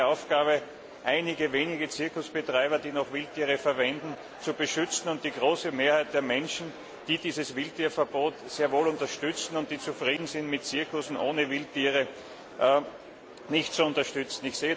Es ist nicht seine Aufgabe, einige wenige Zirkusbetreiber, die noch mit Wildtieren arbeiten, zu beschützen und die große Mehrheit der Menschen, die dieses Wildtierverbot sehr wohl unterstützen und die zufrieden sind mit Zirkussen ohne Wildtiere, nicht zu unterstützen.